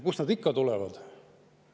Kust nad tulevad?